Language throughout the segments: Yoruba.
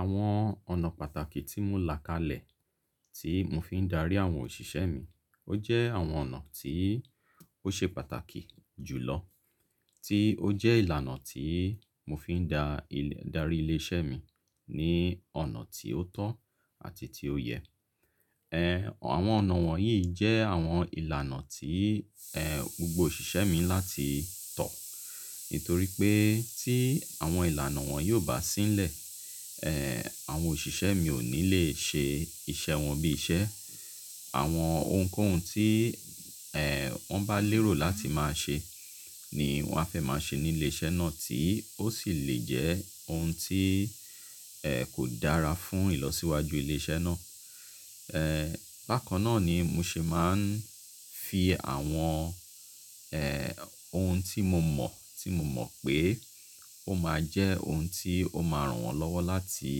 Àwọn ọ̀nà pàtàkì tí mo là kalẹ̀ tí mo fi ń darí àwọn òṣìṣẹ́ mi, ó jẹ́ àwọn ọ̀nà tí ó ṣe pàtàkì jùlọ, tí ó jẹ́ ìlànà tí mo fi ń darí ilé-iṣẹ́ mi ní ọ̀nà tí ó tọ́ àti tí ó yẹ. Àwọn ọ̀nà wọ̀nyí jẹ́ àwọn ìlànà tí gbogbo òṣìṣẹ́ mi láti tọ̀. Nítorí pé tí àwọn ìlànà wọn yii o bá sí ni lẹ̀, àwọn òṣìṣẹ́ mi ò ní le ṣe iṣẹ́ wọn bí iṣẹ́. Àwọn ohunkóhun tí wọ́n bá lérò láti máa ṣe ni wọ́n a fẹ́ máa ṣe ní ilé-iṣẹ́ náà tí ó sì le jẹ́ ohun tí kò dára fún ìlọsíwájú ilé-iṣẹ́ náà. Bákan náà ni mo ṣe máa ń fi àwọn ohun tí mo mọ̀, tí mo mọ̀ pé ó máa jẹ́ ohun tí ó máa ràn wọ́n lọ́wọ́ láti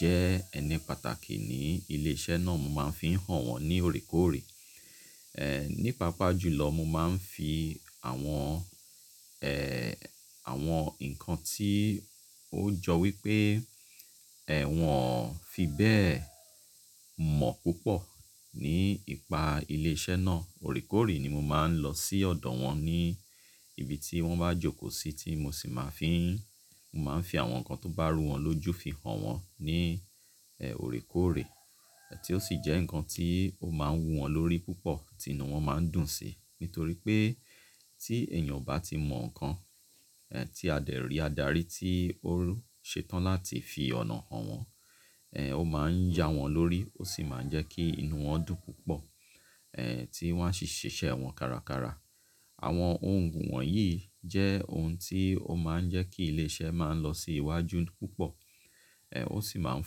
jẹ́ ẹni pàtàkì ní ilé iṣẹ́ náà, mo máa ń fi hàn wọ́n ní òoré kòóré. Ní paa pá jùlọ, mo máa ń fi àwọn àwọn nǹkan tí ó jọ wípé wọ́n fi bẹ́ẹ̀ mọ̀ púpọ̀ nípa ilé iṣẹ́ náà. Òoré kòóré ni mo máa ń lọ sí ọ̀dọ̀ wọn ní ibi tí wọ́n bá jókòó sí tí mo sì máa ń fi, mo máa ń fi àwọn nǹkan tó bá rú wọn lójú fi hàn wọ́n ní òoré kòóré. Tí ó sì jẹ́ nǹkan tí ó máa ń wu wọn lórí púpọ̀, tì ínù wọn máa ń dùn si. Nítorí pé tí èèyàn bá o ti mọ̀ nǹkan tí a dérì adarí ti ó ṣe tán láti fi ọ̀nà hàn wọ́n, ó máa ń ya wọn lórí ó sì máa ń jẹ́ kí inú wọn dùn púpọ̀ tí wọ́n a ṣì ṣe iṣẹ́ wọn kára kára. Àwọn ohun wọ̀nyí jẹ́ ohun tí ó máa ń jẹ́ kí ilé iṣẹ́ máa lọ sí iwájú púpọ̀, ó sì máa ń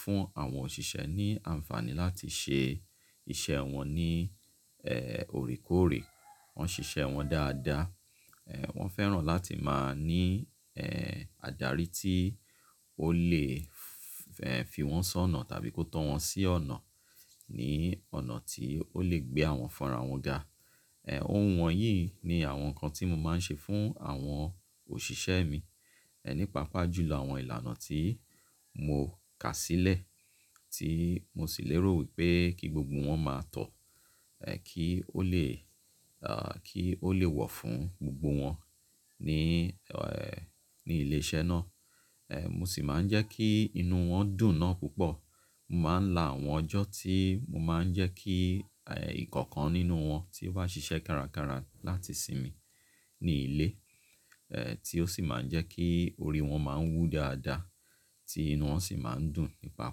fún àwọn òṣìṣẹ́ ní àǹfààní láti ṣe iṣẹ́ wọn ní òoré kòóré. Wọ́n ṣiṣẹ́ wọn dáadáa, wọ́n fẹ́ràn láti máa ní adarí tí ó lè fi wọ́n ṣọ́nà tàbí kó tọ́ wọn sí ọ̀nà, ní ọ̀nà tí ó lè gbé àwọn fun arawon ga. Ohun wọ̀nyí ni àwọn nǹkan tí mo máa ń ṣe fún àwọn òṣìṣẹ́ mi ní paa pá jùlọ àwọn ìlànà tí mo kà sílẹ̀ tí mo sì lérò wípé kí gbogbo wọn máa tọ̀ kí ó le, kí ó lè wọ̀ fún gbogbo wọn ní ní ilé iṣẹ́ náà. Mo sì máa ń jẹ́ kí inú wọn dùn náà púpọ̀. Mo máa ń la àwọn ọjọ́ tí mo máa ń jẹ́ kí ìkọ̀ọ̀kan nínú wọn tí ó bá ṣiṣẹ́ kárakára láti sinmi ní ilé, tí ó sì máa ń jẹ́ kí orí wọn máa ń wú dáadáa tí inú wọn sì máa ń dùn ní paa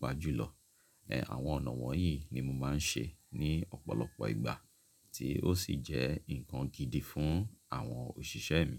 pá jùlọ. Àwọn ọ̀nà wọ̀nyí ni mo máa ń ṣe ní ọ̀pọ̀lọpọ̀ ìgbà tí ó sì jẹ́ nǹkan gidi fún àwọn òṣìṣẹ́ mi.